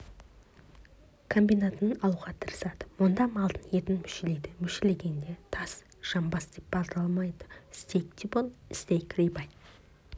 комбинатынан алуға тырысады мұнда малдың етін мүшелейді мүшелегенде төс жамбас деп балталамайды стейк-тибон стейк рибай